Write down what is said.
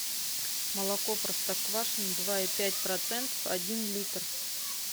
молоко простоквашино два и пять процентов один литр